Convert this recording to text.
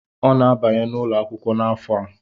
Ọ na-abanye n’ụlọ akwụkwọ n’afọ a